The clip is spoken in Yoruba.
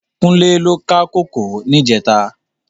Kunle lò ká kókòó nijètá